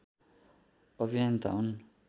अभियन्ता हुन्